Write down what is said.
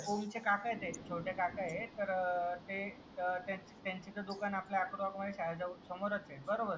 हो ओमचे काका होते ते छोटे काका आहेत त्यांचा दुकान आपल्या दुकान आपल्या शाळया समोरच आहे बरोबर